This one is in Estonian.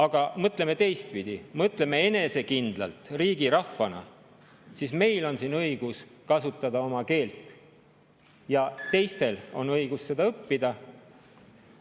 Aga mõtleme teistpidi, mõtleme enesekindlalt, riigirahvana: meil on siin õigus kasutada oma keelt ja teistel on õigus seda õppida.